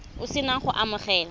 o se na go amogela